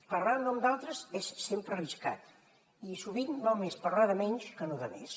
parlar en nom d’altres és sempre arriscat i sovint val més parlar de menys que no de més